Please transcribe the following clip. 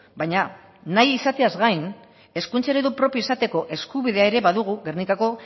baina nahi izateaz gain hezkuntza eredu propioa izateko eskubidea ere badugu gernikako